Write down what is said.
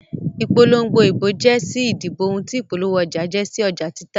Ìpolongo ìbò jẹ́ sí ìdìbò ohun tí ìpolówó ọjà jẹ́ sí ọjà títà.